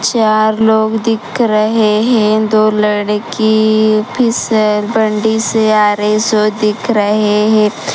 चार लोग दिख रहे हैं दो लड़की भी फिसल बंडी से आ रही है सो दिख रहे हैं।